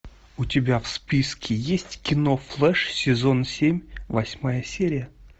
у тебя в списке есть кино флэш сезон семь восьмая серия